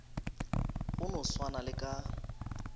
go no swana le ka